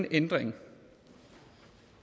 ændring